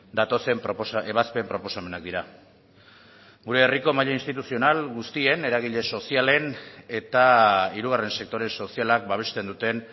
datozen ebazpen proposamenak dira gure herriko maila instituzional guztien eragile sozialen eta hirugarren sektore sozialak babesten duten